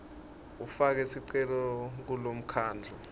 ufake sicelo kulomkhandlu